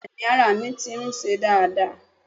Bẹ́ẹ̀ni ara mi ti ń se dáadáa